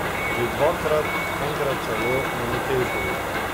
Že dvakrat, enkrat celo na Metelkovi.